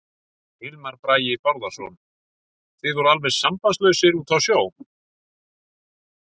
Hilmar Bragi Bárðarson: Þið voruð alveg sambandslausir úti á sjó?